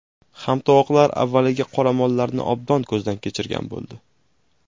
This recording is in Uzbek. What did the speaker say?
Hamtovoqlar avvaliga qoramollarni obdon ko‘zdan kechirgan bo‘ldi.